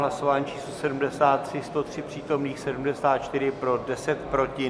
Hlasování číslo 73, 103 přítomných, 74 pro, 10 proti.